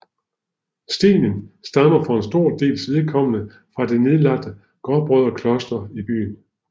Stenen stammer for en stor dels vedkommende fra det nedlagte gråbrødrekloster i byen